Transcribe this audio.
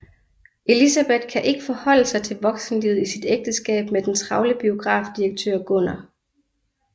Elisabeth kan ikke forholde sig til voksenlivet i sit ægteskab med den travle biografdirektør Gunnar